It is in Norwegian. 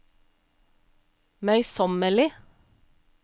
møysommelig